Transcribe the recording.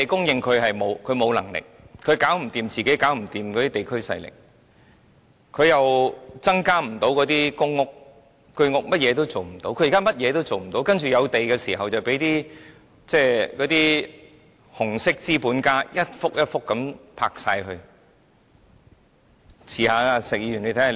政府沒有能力供應土地，應付不了地區勢力，亦無法增建公屋或居屋，甚麼都做不到；當有土地拍賣時，就被那些紅色資本家一幅一幅的買走。